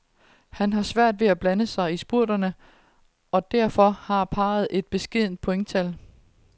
Han har svært ved at blande sig i spurterne, og derfor har parret et beskedent pointtal.